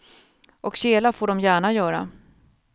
Och kela får de gärna göra.